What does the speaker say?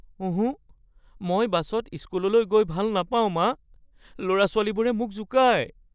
ওহোঁ! মই বাছত স্কুললৈ গৈ ভাল নাপাও, মা। ল'ৰা-ছোৱালীবোৰে মোক জোকায়।